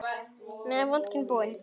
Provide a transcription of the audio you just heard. En nú er vodkinn búinn.